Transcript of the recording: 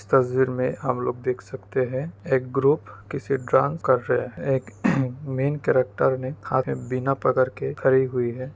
इस तस्वीर में हम लोग देख सकते हैं एक ग्रुप किसी डांस कर रहे एक मेन करैक्टर के खड़ी हुई है |